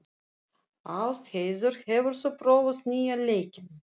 Ástheiður, hefur þú prófað nýja leikinn?